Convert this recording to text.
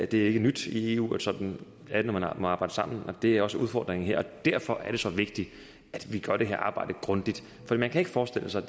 det er ikke nyt i eu sådan er det når man må arbejde sammen og det er også udfordringen her derfor er det så vigtigt at vi gør det her arbejde grundigt for man kan ikke forestille sig